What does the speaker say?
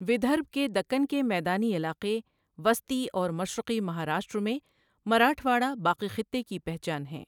ودربھ کے دکن کے میدانی علاقے، وسطی اور مشرقی مہاراشٹر میں مراٹھواڑہ باقی خطے کی پہچان ہیں۔